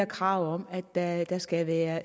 krav om at at der skal være